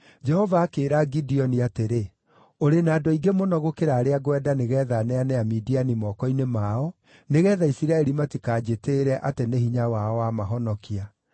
Jehova akĩĩra Gideoni atĩrĩ, “Ũrĩ na andũ aingĩ mũno gũkĩra arĩa ngwenda nĩgeetha neane Amidiani moko-inĩ mao. Nĩgeetha Isiraeli matikanjĩtĩĩre atĩ nĩ hinya wao wamahonokia,